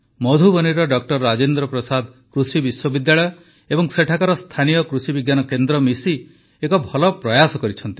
ମଧୁବନୀର doctor Rajendra Prasad କୃଷି ବିଶ୍ୱବିଦ୍ୟାଳୟ ଏବଂ ସେଠାକାର ସ୍ଥାନୀୟ କୃଷି ବିଜ୍ଞାନ କେନ୍ଦ୍ର ମିଶି ଏକ ଭଲ ପ୍ରୟାସ କରିଛନ୍ତି